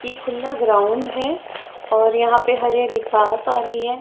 ये खुला ग्राउंड है और यहां पे हरी हरी घास आ रही है।